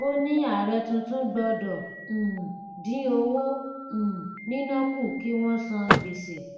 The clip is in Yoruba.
ó ní ààrẹ tuntun gbọdọ um dín owó um níná kù kí wón san gbèsè